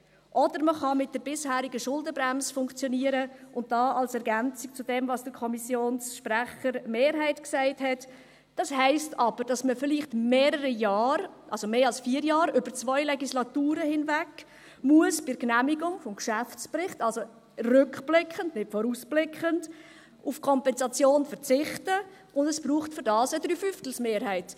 Oder man kann mit der bisherigen Schuldenbremse funktionieren – und da als Ergänzung zu dem, was der Kommissionssprecher der Mehrheit sagte –, das heisst aber, dass man bei der Genehmigung des Geschäftsberichts vielleicht mehrere Jahre, also vier Jahre, über zwei Legislaturen hinweg, also rückblickend und nicht vorausblickend, auf die Kompensation verzichten muss, und dafür braucht es eine Drei-Fünftel-Mehrheit.